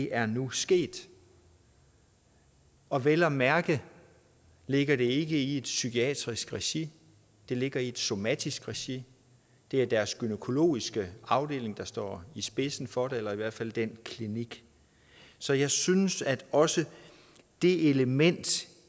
er nu sket og vel at mærke ligger det ikke i et psykiatrisk regi der ligger i et somatisk regi det er deres gynækologiske afdeling der står i spidsen for det eller i hvert fald den klinik så jeg synes at også det element